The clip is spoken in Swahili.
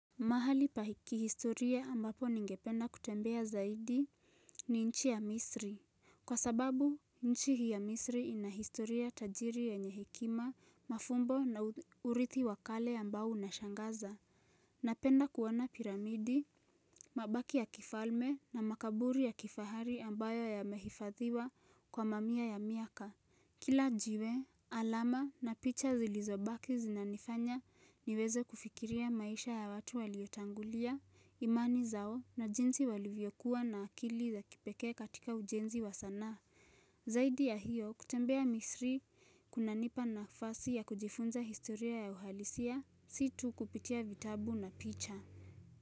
Mahali pa kihistoria ambapo ningependa kutembea zaidi ni nchi ya misri. Kwa sababu, nchi hii ya misri ina historia tajiri yenye hekima, mafumbo na urithi wa kale ambao unashangaza. Napenda kuona piramidi, mabaki ya kifalme na makaburi ya kifahari ambayo yamehifadhiwa kwa mamia ya miaka. Kila jiwe, alama na picha zilizobaki zinanifanya niweze kufikiria maisha ya watu waliotangulia, imani zao na jinsi walivyokuwa na akili za kipekee katika ujenzi wa sanaa. Zaidi ya hiyo, kutembea misri kunanipa nafasi ya kujifunza historia ya uhalisia, si tu kupitia vitabu na picha.